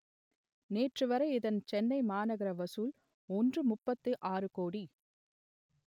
நேற்றுவரை இதன் சென்னை மாநகர வசூல் ஒன்றுமுப்பத்து ஆறு கோடி